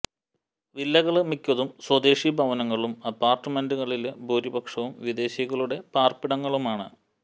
വില്ലകള് മിക്കതും സ്വദേശി ഭവനങ്ങളും അപാര്ട്മെന്റുകളില് ഭൂരിപക്ഷവും വിദേശികളുടെ പാര്പ്പിടങ്ങളുമാണ്